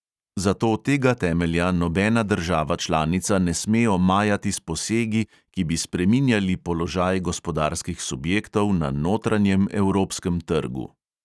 Zato tega temelja nobena država članica ne sme omajati s posegi, ki bi spreminjali položaj gospodarskih subjektov na notranjem evropskem trgu.